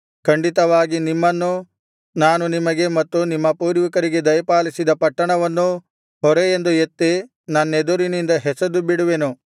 ಖಂಡಿತವಾಗಿ ನಿಮ್ಮನ್ನೂ ನಾನು ನಿಮಗೆ ಮತ್ತು ನಿಮ್ಮ ಪೂರ್ವಿಕರಿಗೆ ದಯಪಾಲಿಸಿದ ಪಟ್ಟಣವನ್ನೂ ಹೊರೆಯೆಂದು ಎತ್ತಿ ನನ್ನೆದುರಿನಿಂದ ಎಸೆದುಬಿಡುವೆನು